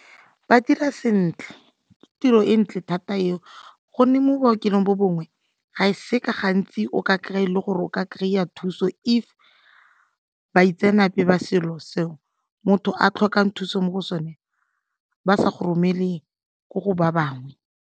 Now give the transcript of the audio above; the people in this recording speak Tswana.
Ba dira sentle, ke tiro e ntle thata eo gonne mo bookelong bo bongwe ga e seka gantsi o ka kry-e le gore o ka kry-a thuso if baitsenape ba selo seo motho a tlhokang thuso mo go sone ba sa go romele ko go ba bangwe.